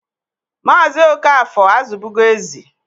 Maazị Okafor azụbụgo ezi.